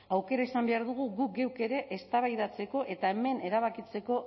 aukera izan behar dugu guk geuk ere eztabaidatzeko eta hemen erabakitzeko